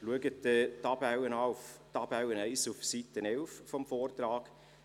Betrachten Sie die Tabelle 1 auf Seite 11 des Vortrags.